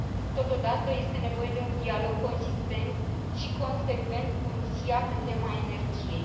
Totodată, este nevoie de un dialog consistent și consecvent cu Rusia pe tema energiei.